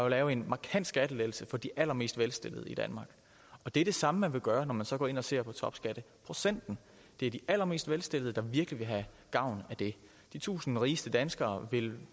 at lave en markant skattelettelse for de allermest velstillede i danmark det er det samme man vil gøre når man så går ind og ser på topskatte det er de allermest velstillede der virkelig vil have gavn af det de tusind rigeste danskere vil